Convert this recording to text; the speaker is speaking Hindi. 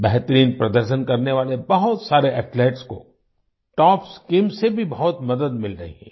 बेहतरीन प्रदर्शन करने वाले बहुत सारे एथलीट्स को टॉप्स शीम से भी बहुत मदद मिल रही है